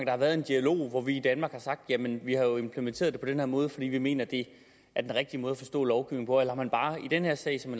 har været en dialog hvor vi i danmark har sagt jamen vi har jo implementeret det på den her måde fordi vi mener det er den rigtige måde at forstå lovgivningen på eller har man bare i den her sag som